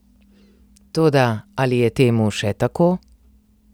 Toda, ali je temu še tako?